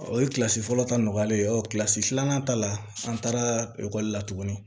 O ye fɔlɔ ta nɔgɔyalen ye filanan ta la an taara ekɔli la tuguni